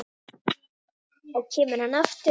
Og kemur hann aftur?